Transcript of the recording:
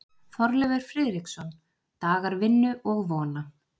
Þorleifur Friðriksson: Dagar vinnu og vona.